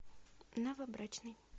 новобрачный